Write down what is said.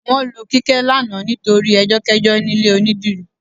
Wọ́n lu Kíkẹ́ lánàá nítorí ẹjọ́kẹ́jọ́ ní ilé onídìrí